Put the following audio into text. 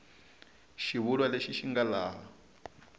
xivulwa lexi xi nga laha